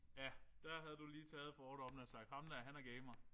Ja der havde du lige taget fordommene og sagt ham der han er gamer